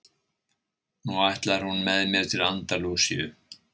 Nú ætlar hún með mér til Andalúsíu.